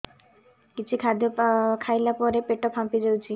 କିଛି ଖାଦ୍ୟ ଖାଇଲା ପରେ ପେଟ ଫାମ୍ପି ଯାଉଛି